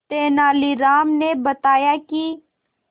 तेनालीराम ने बताया कि